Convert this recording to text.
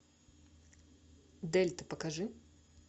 дельта покажи